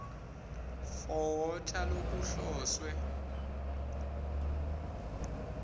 for water lokuhloswe